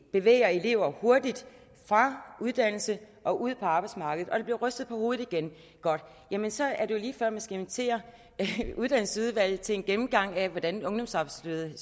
bevæger elever hurtigt fra uddannelse og ud på arbejdsmarkedet der bliver rystet på hovedet igen godt jamen så er det jo lige før man skal invitere uddannelsesudvalget til en gennemgang af hvordan ungdomsarbejdsløsheden